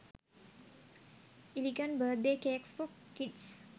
elegant birthday cakes for kids